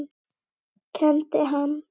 Kenndi hann